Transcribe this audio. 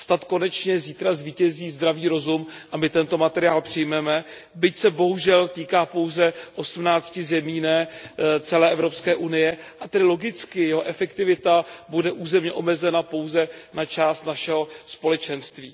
Snad konečně zítra zvítězí zdravý rozum a my tento materiál přijmeme, byť se bohužel týká pouze 18 zemí, ne celé Evropské unie, a tedy logicky jeho efektivita bude územně omezena pouze na část našeho Společenství.